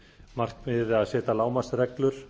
markmiðið að setja lágmarksreglur